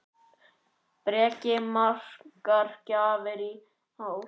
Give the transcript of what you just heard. Breki: Margar gjafir í ár?